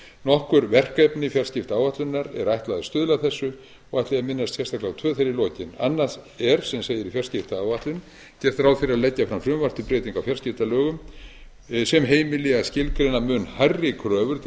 nokkur verkefni fjarskiptaáætlunar er ætlað að stuðla að þessu og ætla ég að minnast sérstaklega á tvö í lokin annað er sem segir í fjarskiptaáætlun gert ráð fyrir að leggja fram frumvarp til breytinga á fjarskiptalögum sem heimili að skilgreina mun hærri kröfur til